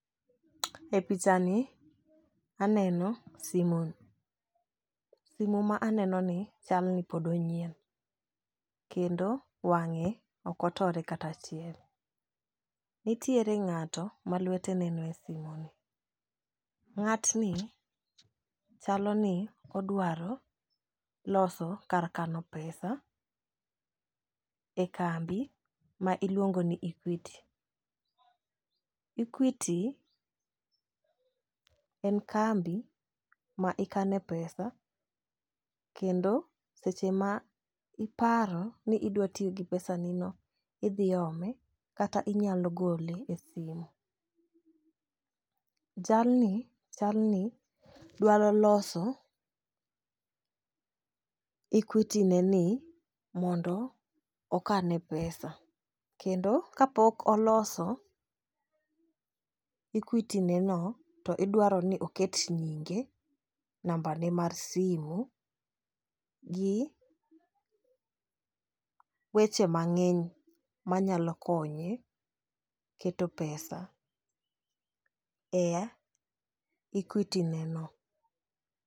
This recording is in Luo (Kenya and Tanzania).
E picha ni aneno simu simo ma aneno ni chal ni pod onyien kendo wang'e ok otore kata achiel. Nitiere ng'ato ma lwete neno e simo ni. Ng'atni chalo ni odwaro loso kar kano pesa e kambi ma iluongo ni equity. Equity en kambi ma ikane pesa kendo seche ma iparo ni idwa tiyo gi pesa nino idhi ome kata inyalo gole e simu. Jalni chalni dwaro loso equity ne ni mondo okane pesa kendo kapok oloso equity ne no, idwaro ni oket nyinge, namba ne mar simo gi weche mang'eny manyalo konye keto pesa e equity ne no.